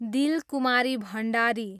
Dilkumari Bhandari